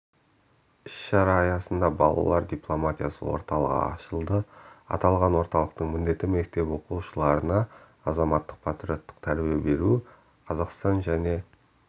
іс-шара аясында балалар дипломатиясы орталығы ашылды аталған орталықтың міндеті мектеп оқушыларына азаматтық-патриоттық тәрбие беру қазақстан және